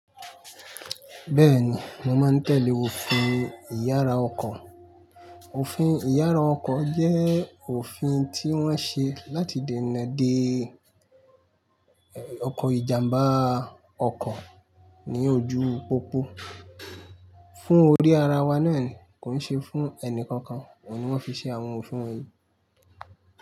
Bẹ́ẹ̀ni, mo máa ń tẹ̀lé òfin ìyára ọkọ̀. Òfin ìyára ọkọ̀ jẹ́ òfin tí wọ́n ṣe láti dènà dé ọkọ̀ ìjàmbá ọkọ̀ ní ojú pópó fún orí ara wa nàá ni, kò ń ṣe fún ẹnì kankan. Òun ni wọ́n fi ṣe àwọn òfin wọ̀nyí.